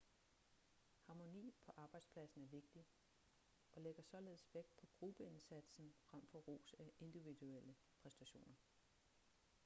harmoni på arbejdspladsen er vigtig og lægger således vægt på gruppeindsatsen frem for ros af individuelle præstationer